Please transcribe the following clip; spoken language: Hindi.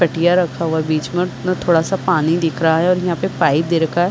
खटिया रखा हुआ है बीच में और उसमे थोडा सा पानी दिख रहा है और यहाँ पे पाइप दे रखा है।